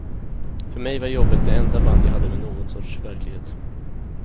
För mej var jobbet det enda band jag hade med nån sorts verklighet.